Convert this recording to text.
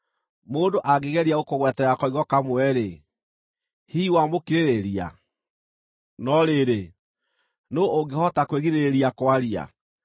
“Mũndũ angĩgeria gũkũgwetera koigo kamwe-rĩ, hihi wamũkirĩrĩria? No rĩrĩ, nũũ ũngĩhota kwĩgirĩrĩria kwaria?